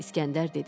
İskəndər dedi: